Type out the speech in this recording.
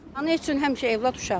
Ana üçün həmişə övlad uşaqdır.